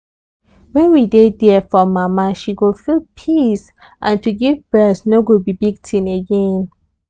when we dey there for mama she go feel peace and to give breast no go be big tin again.